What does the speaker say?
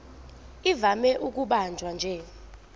ivame ukubanjwa nje